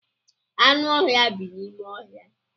Anụ ọhịa bi n'ime ọhịa.